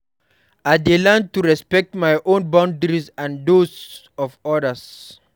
I dey learn to respect my own boundaries and those of others.